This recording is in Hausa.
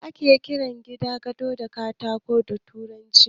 Me ake kiran gidan gado da turanci?